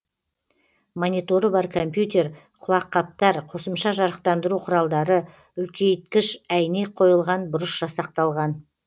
мониторы бар компьютер құлаққаптар қосымша жарықтандыру құралдары үлкейткіш әйнек қойылған бұрыш жасақталған